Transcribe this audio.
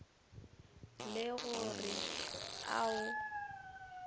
le go re a o